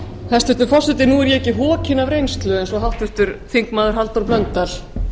hæstvirtur forseti nú er ég ekki hokin af reynslu eins og háttvirtur þingmaður halldór blöndal